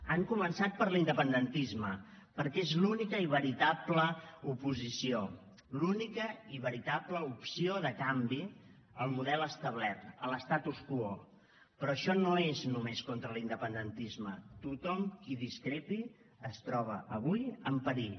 han començat per l’independentisme perquè és l’única i veritable oposició l’única i veritable opció de canvi al model establert a l’contra l’independentisme tothom qui discrepi es troba avui en perill